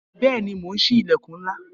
Bẹẹni, mo ń sí ilẹkun ńlá